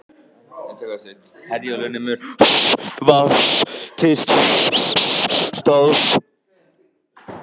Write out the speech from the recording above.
Herjólfur nemur vart staðar þessa helgina